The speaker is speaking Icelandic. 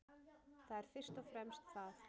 Það er fyrst og fremst það